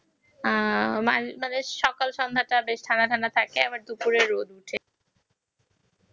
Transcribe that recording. সকাল সন্ধ্যা তা ঠান্ডা ঠান্ডা থাকে াব দুপুরে রদ উঠে